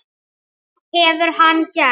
Hvað hefur hann gert?